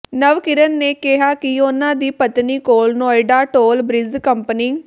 ਨਵਕਿਰਨ ਨੇ ਕਿਹਾ ਕਿ ਉਨਾਂ ਦੀ ਪਤਨੀ ਕੋਲ ਨੋਇਡਾ ਟੋਲ ਬ੍ਰਿਜ ਕੰਪਨੀ